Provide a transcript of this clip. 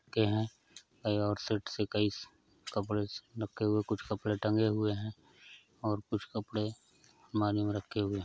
के हैं है और सेट से कई कपड़े नके हुए कुछ कपड़े टंगे हुए हैं और कुछ कपड़े मानी रखे हुए हैं।